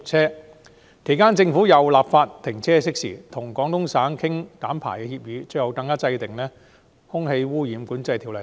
在我任內，政府更就停車熄匙立法、與廣東省商討減排協議，並制定《空氣污染管制條例》。